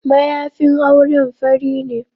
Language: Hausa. Mayafin auren fari ne.